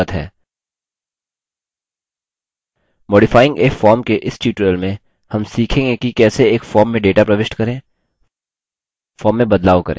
modifying a form के इस tutorial में हम सीखेंगे कि कैसे एक form में data प्रविष्ट करें form में बदलाव करें